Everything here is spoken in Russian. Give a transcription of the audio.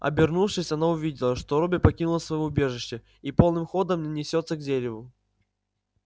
обернувшись она увидела что робби покинул своё убежище и полным ходом несётся к дереву